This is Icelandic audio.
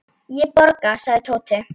Ég borga, sagði Tóti.